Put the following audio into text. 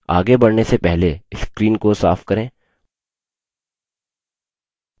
आगे बढ़ने से पहले screen को साफ करें